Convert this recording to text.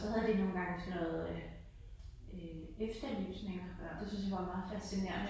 Så havde de nogle gange sådan noget øh øh efterysninger. Det syntes jeg var meget fascinerende